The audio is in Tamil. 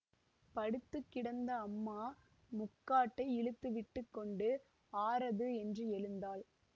படுத்து கிடந்த அம்மா முக்காட்டை இழுத்து விட்டு கொண்டு ஆரது என்று எழுந்தாள்